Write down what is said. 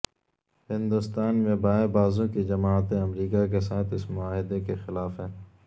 ہندوستان میں بائیں بازو کی جماعتیں امریکہ کے ساتھ اس معاہدے کے خلاف ہیں